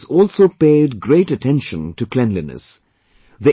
The organizers also paid great attention to cleanliness